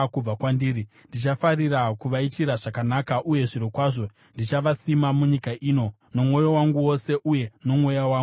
Ndichafarira kuvaitira zvakanaka uye zvirokwazvo ndichavasima munyika ino, nomwoyo wangu wose uye nomweya wangu wose.